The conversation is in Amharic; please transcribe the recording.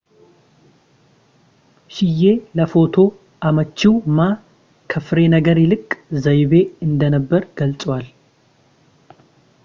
ሺዬ ለፎቶ አመቺው ማ ከፍሬ ነገር ይልቅ ዘይቤ እንደነበር ገልጸዋል